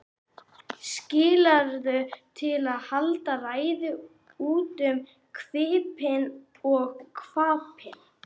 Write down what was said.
Skikkaður til að halda ræður út um hvippinn og hvappinn.